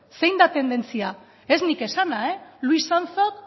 ez nik esana luis anzok